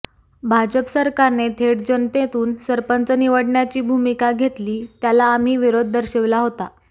भाजप सरकारने थेट जनतेतून सरपंच निवडण्याची भूमिका घेतली त्याला आम्ही विरोध दर्शविला होता